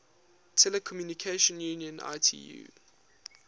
telecommunication union itu